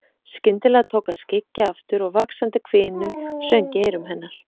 Skyndilega tók að skyggja aftur og vaxandi hvinur söng í eyrum hennar.